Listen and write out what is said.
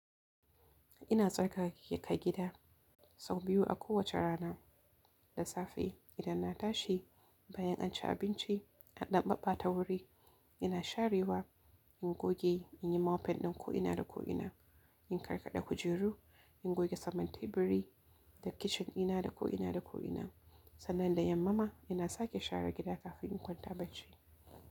Ina tsarkake gida sau biyu a kowace rana da safe idan na tashi bayan an ci abinci an dan babbata wuri ina sharewa in goge in yi mopping din ko ina da ko ina in karkade kujeru in goge saman teburi da kichen dina da ko ina da ko ina. Sannan da yamma ma ina sake share gida kafin in kwanta bacci.